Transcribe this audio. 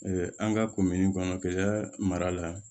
an ka kɔnɔ kɛlɛ mara la